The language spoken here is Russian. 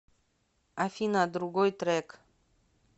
афина другой трек